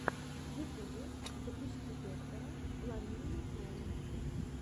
в ютубе запусти доктора ламию кроу